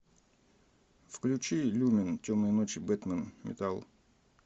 включи люмен темные ночи бэтмен металл